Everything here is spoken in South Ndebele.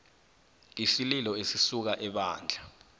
isililo esisuka ebandla